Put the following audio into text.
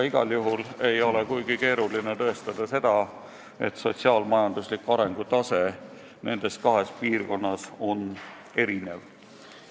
Igal juhul ei ole kuigi keeruline tõestada, et sotsiaal-majandusliku arengu tase nendes kahes piirkonnas on erinev.